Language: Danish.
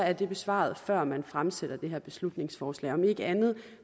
er det besvaret før man fremsatte det her beslutningsforslag om ikke andet